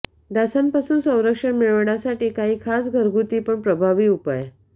डासांपासून संरक्षण मिळवण्यासाठी काही खास घरगुती पण प्रभावी उपाय